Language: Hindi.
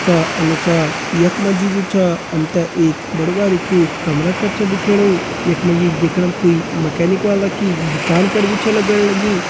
का अनुसार यख मा जी जू च हम त एक कमरा कर छ दिखेणु यख मा जी दिखणा मा कुई मैकेनिक वाला की दुकान कर भी लगण लगीं।